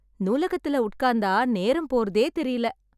நூலகத்துல உட்காந்தா நேரம் போறதே தெரில.